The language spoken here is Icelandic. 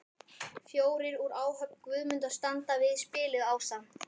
Fjórir úr áhöfn Guðmundar standa við spilið ásamt